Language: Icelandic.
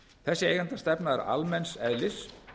þessi eigendastefna er almenns eðlis